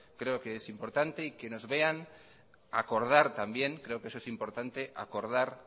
creo que es importante y que nos vean acordar también creo que eso es importante acordar